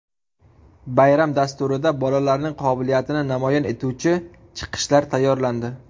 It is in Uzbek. Bayram dasturida bolalarning qobiliyatini namoyon etuvchi chiqishlar tayyorlandi.